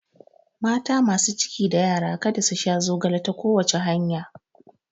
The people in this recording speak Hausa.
Mata masu ciki da yara kada su sha zogale ta kowace hanya